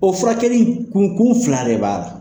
O furakɛli in kun kun fila de b'a la.